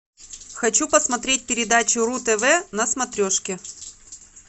хочу посмотреть передачу ру тв на смотрешке